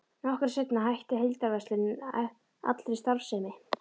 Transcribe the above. Nokkru seinna hætti heildverslunin allri starfsemi.